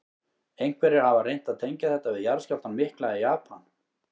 Einhverjir hafa reynt að tengja þetta við jarðskjálftann mikla í Japan.